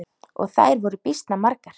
Og þær voru býsna margar.